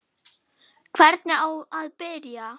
Hvernig á að byrja?